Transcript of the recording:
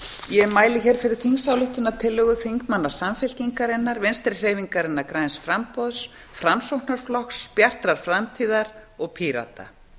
ég mæli hér fyrir þingsályktunartillögu þingmanna samfylkingarinnar vinstri hreyfingarinnar græns framboðs framsóknarflokks bjartrar framtíðar og pírata